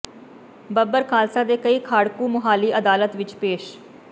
ਬੱਬਰ ਖਾਲਸਾ ਦੇ ਕਈ ਖਾੜਕੂ ਮੁਹਾਲੀ ਅਦਾਲਤ ਵਿੱਚ ਪੇਸ਼